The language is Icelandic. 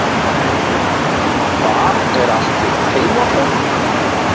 Hvar er allt þitt heimafólk?